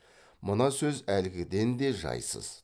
мына сөзі әлгіден де жайсыз